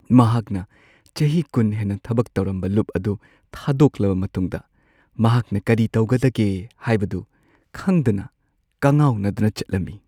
ꯃꯍꯥꯛꯅ ꯆꯍꯤ ꯲꯰ ꯍꯦꯟꯅ ꯊꯕꯛ ꯇꯧꯔꯝꯕ ꯂꯨꯞ ꯑꯗꯨ ꯊꯥꯗꯣꯛꯂꯕ ꯃꯇꯨꯡꯗ, ꯃꯍꯥꯛꯅ ꯀꯔꯤ ꯇꯧꯒꯗꯒꯦ ꯍꯥꯏꯕꯗꯨ ꯈꯪꯗꯅ ꯀꯉꯥꯎꯅꯗꯨꯅ ꯆꯠꯂꯝꯃꯤ ꯫